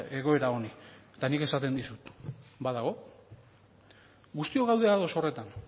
egoera honi eta nik esaten dizut badago guztiok gaude ados horretan